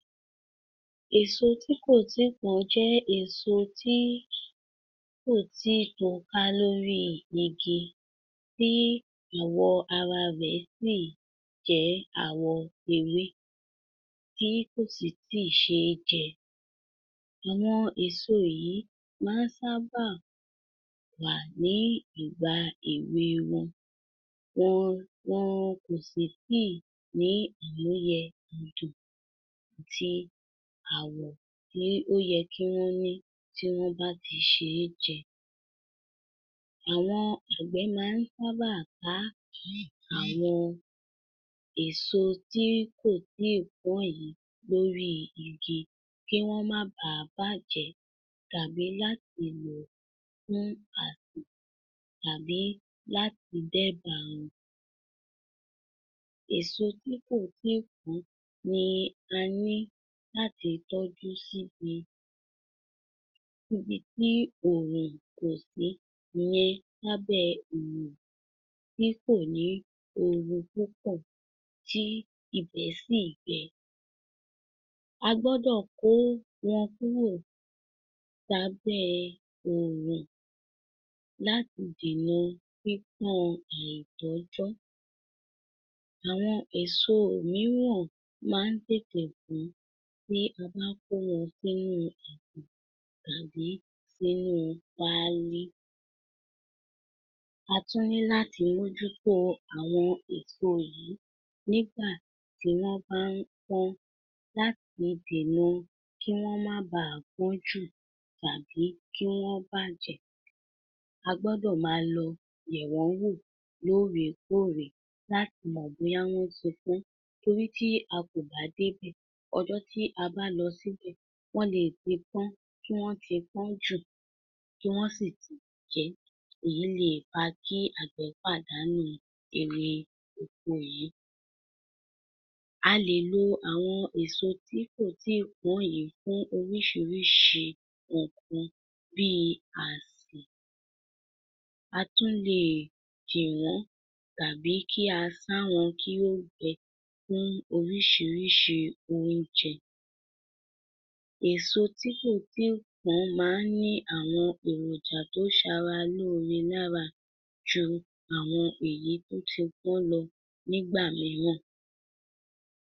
Eso tí kò tíì pọ́n jẹ èso tí kò tíì tó ká lórí igi tí àwọ̀ ararẹ̀ sì jẹ́ àwọ̀ ewé tí kò sì tí ì ṣeé jẹ. Àwọn èso yìí má sá bá wà ní ìgbà èwe wọn. Wọn, wọn kò sí tí ní àmúyẹ àwọ̀ tí ó yẹ kí wọn ní tí wọ́n bá ti ṣeé jẹ. Àwọn àgbẹ̀ máa nsábà ká àwọn èso tí kò tí pọ́n yìí lórí igi kí wọ́n má ba à bàjẹ́, tàbí láti lò tàbí láti dẹ báwọn. Èso tí kò tíì pọ́n ni a ní láti tọ́jú sí bi ibi tí òòrùn kò sí ìyan lábẹ̀ òòrùn tí kò ní oorun púpọ̀ tí ibẹ̀ sì gbẹ. A gbọ́dọ̀ kó wọn kúrò lábẹ̀ òòrùn láti dèna pípọ́n àìtọ́jọ́. Àwọn èso mìíràn má n tètè pọ́n, tí a bá kó wọn sínú áti tàbí sínú páálí. A tún ní láti mójútó àwọn èso yìí nígbà tí wọ́n bá n pọ́n láti dènà kí wọ́n má baà pọ́n jù tàbí kí wọn bàjẹ́. A gbọ́dọ̀ máa lọ yẹ̀ wọ́n wò lóòrè kóòrè láti mọ̀ bóyá wọ́n ti pọ́n torí tí a kò bá dé bẹ̀, ọjọ́ tí a bá lọ síbẹ̀ wọ́n lè ti pọ́n, kí wọ́n ti pọ́n jù tí wọ́n sì ti bàjẹ́. Èyí lè fa kí àgbẹ̀ pàdánù èrè oko yìí. A lè lo àwọn èso tí kò tíí pọ́n yìí fún orísìírísìí ǹkan bíi àsì. A tún lè kó wọn tàbí kí á sá wọn kí ó gbẹ fún orísìírísìí oúnjẹ. Èso tí kò tíì pọ́n ma ńní àwọn érójà tó sara lóre lára ju àwọn èyí tí ó ti pọ́n lọ nígbà míràn.